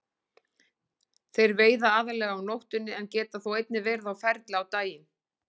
Þeir veiða aðallega á nóttunni en geta þó einnig verið á ferli á daginn.